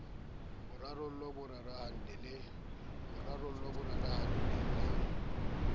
bo rarolohe bo rarana le